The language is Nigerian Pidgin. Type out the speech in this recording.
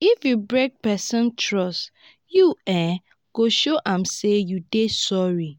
if you break pesin trust you um go show am sey you dey sorry.